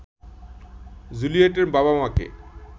জুলিয়েটের বাবা-মাকে